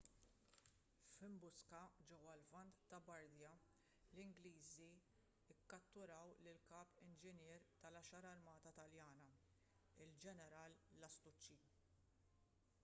f'imbuska ġewwa l-lvant ta' bardia l-ingliżi kkatturaw lill-kap inġinier tal-għaxar armata taljana il-ġeneral lastucci